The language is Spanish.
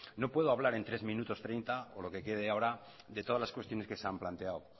no puedo hablar en tres minutos treinta o lo que quede ahora de todas las cuestiones que se han planteado